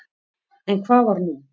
En hvað var nú?